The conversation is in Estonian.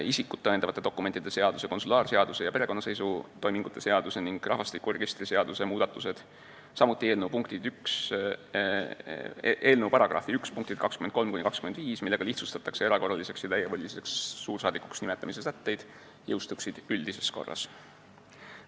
Isikut tõendatavate dokumentide seaduse, konsulaarseaduse ja perekonnaseisutoimingute seaduse ning rahvastikuregistri seaduse muudatused, samuti eelnõu § 1 punktid 23–25, millega lihtsustatakse erakorraliseks ja täievoliliseks suursaadikuks nimetamise sätteid, jõustuksid üldises korras.